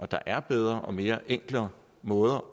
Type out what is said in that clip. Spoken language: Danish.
der er bedre og mere enkle måder